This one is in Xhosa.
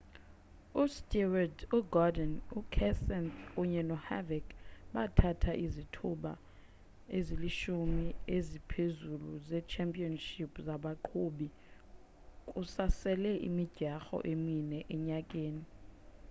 ustewart ugordon ukenseth kunye noharvick bathatha izithuba ezilishumi eziphezulu ze-championship zabaqhubi kusasele imidyarho emine enyakeni